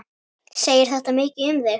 Segir þetta mikið um þig.